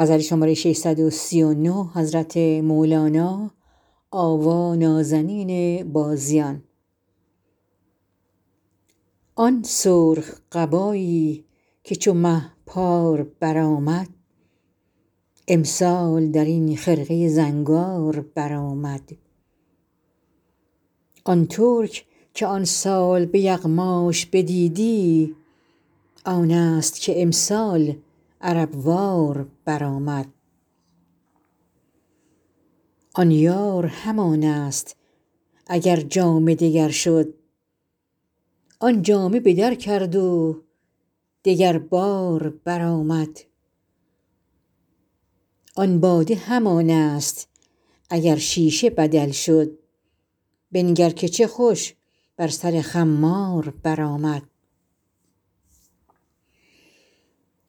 آن سرخ قبایی که چو مه پار برآمد امسال در این خرقه زنگار برآمد آن ترک که آن سال به یغماش بدیدی آنست که امسال عرب وار برآمد آن یار همانست اگر جامه دگر شد آن جامه به در کرد و دگربار برآمد آن باده همانست اگر شیشه بدل شد بنگر که چه خوش بر سر خمار برآمد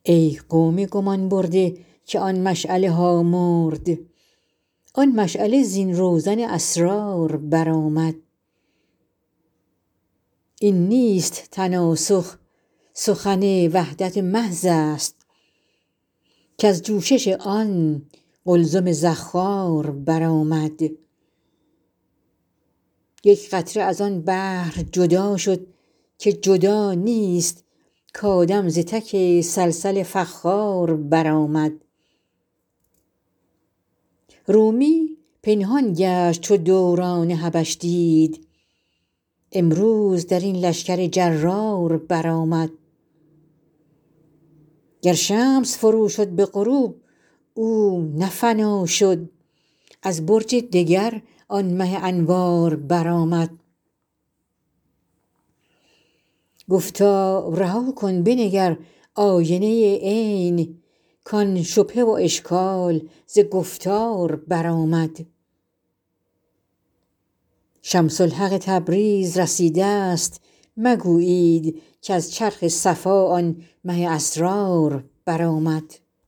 ای قوم گمان برده که آن مشعله ها مرد آن مشعله زین روزن اسرار برآمد این نیست تناسخ سخن وحدت محضست کز جوشش آن قلزم زخار برآمد یک قطره از آن بحر جدا شد که جدا نیست کآدم ز تک صلصل فخار برآمد رومی پنهان گشت چو دوران حبش دید امروز در این لشکر جرار برآمد گر شمس فروشد به غروب او نه فنا شد از برج دگر آن مه انوار برآمد گفتار رها کن بنگر آینه عین کان شبهه و اشکال ز گفتار برآمد شمس الحق تبریز رسیدست مگویید کز چرخ صفا آن مه اسرار برآمد